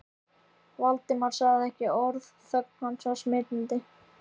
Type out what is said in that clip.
Valdimar sagði ekki orð og þögn hans var smitandi.